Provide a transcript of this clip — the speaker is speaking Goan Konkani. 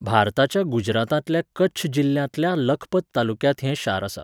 भारताच्या गुजरातांतल्या कच्छ जिल्ल्यांतल्या लखपत तालुक्यांत हें शार आसा.